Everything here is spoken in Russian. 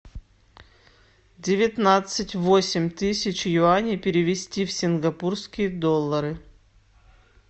девятнадцать восемь тысяч юаней перевести в сингапурские доллары